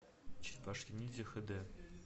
черепашки ниндзя хд